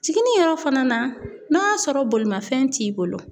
Jiginni yɔrɔ fana na, n'a y'a sɔrɔ bolimanfɛn t'i bolo